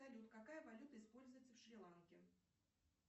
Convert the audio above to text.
салют какая валюта используется в шри ланке